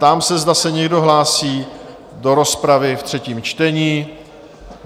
Ptám se, zda se někdo hlásí do rozpravy ve třetím čtení?